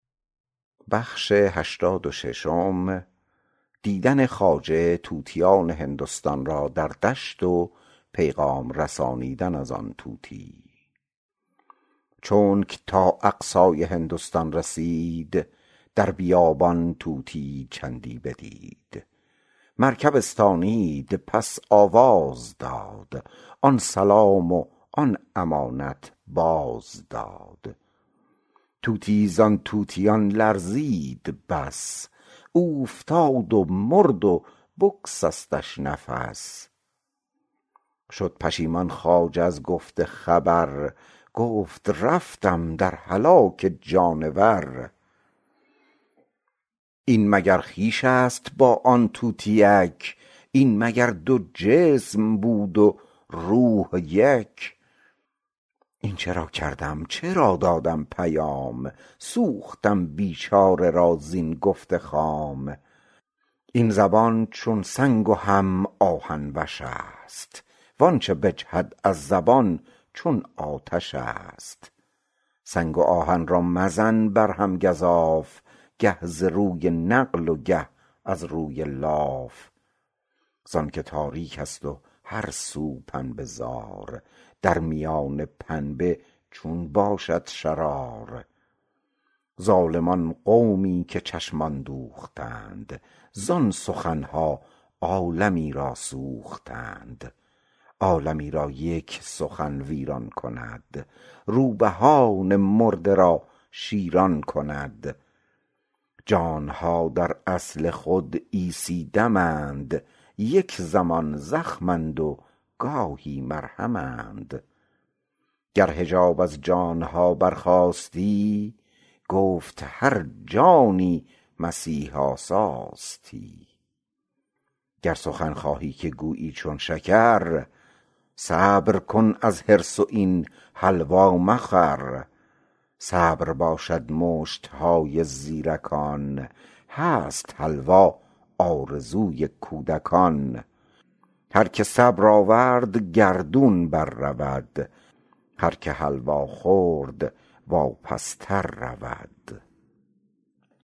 چونک تا اقصای هندستان رسید در بیابان طوطیی چندی بدید مرکب استانید پس آواز داد آن سلام و آن امانت باز داد طوطیی زان طوطیان لرزید بس اوفتاد و مرد و بگسستش نفس شد پشیمان خواجه از گفت خبر گفت رفتم در هلاک جانور این مگر خویشست با آن طوطیک این مگر دو جسم بود و روح یک این چرا کردم چرا دادم پیام سوختم بیچاره را زین گفت خام این زبان چون سنگ و هم آهن وشست وانچ بجهد از زبان چون آتشست سنگ و آهن را مزن بر هم گزاف گه ز روی نقل و گه از روی لاف زانک تاریکست و هر سو پنبه زار درمیان پنبه چون باشد شرار ظالم آن قومی که چشمان دوختند زان سخنها عالمی را سوختند عالمی را یک سخن ویران کند روبهان مرده را شیران کند جانها در اصل خود عیسی دمند یک زمان زخمند و گاهی مرهمند گر حجاب از جانها بر خاستی گفت هر جانی مسیح آساستی گر سخن خواهی که گویی چون شکر صبر کن از حرص و این حلوا مخور صبر باشد مشتهای زیرکان هست حلوا آرزوی کودکان هرکه صبر آورد گردون بر رود هر که حلوا خورد واپس تر رود